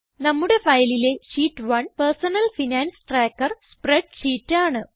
നമ്മുടെ ഫയലിലെ sheet 1 personal finance tracker spreadsheet ആണ്